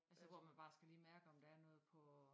Altså hvor man bare skal lige mærke om der er noget på